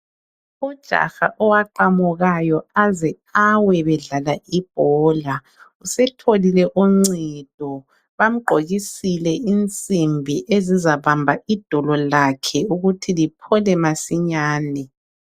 Ujaha owaqamukayo aze awe bedlala ibhola ,usetholile uncedo bamgqokisile ensimbi ezizabamba idolo lakhe ukuthi liphole masinyane.